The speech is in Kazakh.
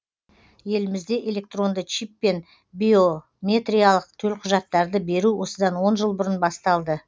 елімізде электронды чиппен биометриялық төлқұжаттарды беру осыдан он жыл бұрын басталды